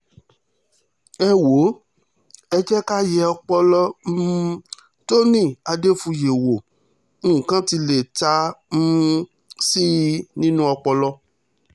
ẹ wò ó ẹ jẹ́ ká yẹ ọpọlọ um tony adéfúye wo nǹkan tí lè ta um sí i nínú ọpọlọ